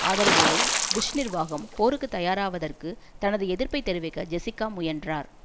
ஆதரவோடு புஷ் நிர்வாகம் போருக்கு தயாராவதற்கு தனது எதிர்ப்பை தெரிவிக்க ஜெசிக்கா முயன்றார்